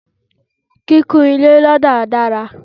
kíkun ilé lọda dára